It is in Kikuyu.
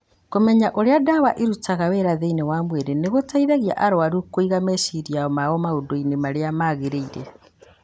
Kũmenya ũrĩa ndawa ĩrutaga wĩra thĩinĩ wa mwĩrĩ nĩ gũteithagia arũaru kũiga meciria mao maũndũ-inĩ marĩa magĩrĩire.